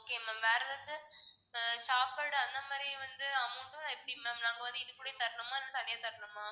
okay ma'am வேற ஏதாச்சும் அஹ் சாப்பாடு அந்த மாதிரி வந்து amount எப்படி ma'am நாங்க வந்து இதுக்கூடயே தரணுமா இல்ல தனியா தரணுமா?